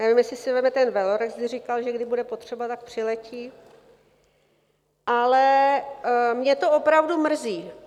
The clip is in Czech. Nevím, jestli si vezme ten velorex, když říkal, že když bude potřeba, tak přiletí, ale mě to opravdu mrzí.